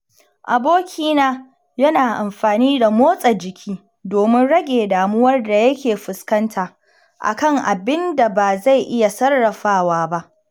Abokina yana amfani da motsa jiki domin rage damuwar da yake fuskanta a kan abin da ba zai iya sarrafawa ba.